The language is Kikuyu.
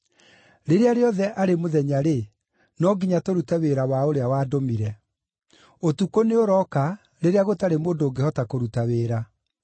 Rĩrĩa rĩothe arĩ mũthenya-rĩ, no nginya tũrute wĩra wa ũrĩa wandũmire. Ũtukũ nĩũrooka rĩrĩa gũtarĩ mũndũ ũngĩhota kũruta wĩra.